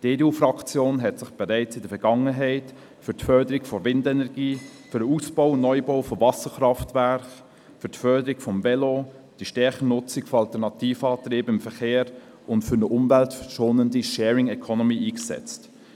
Die EDU-Fraktion hat sich bereits in der Vergangenheit für die Förderung der Windenergie, für den Aus- und Neubau von Wasserkraftwerken, für die Förderung des Velos, für die stärkere Nutzung von alternativen Antrieben im Verkehr und für eine umweltschonende Sharing Economy eingesetzt.